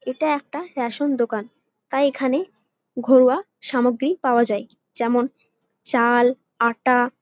এটা একটা রেশন দোকান তাই এখানে ঘরোয়া সামগ্রী পাওয়া যায় যেমন চাল আটা ।